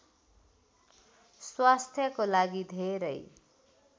स्वास्थ्यको लागि धेरै